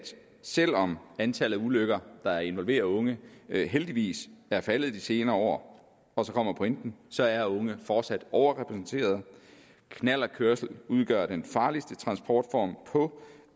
selv om antallet af ulykker der involverer unge heldigvis er faldet de senere år og så kommer pointen så er unge fortsat overrepræsenteret knallertkørsel udgør den farligste transportform på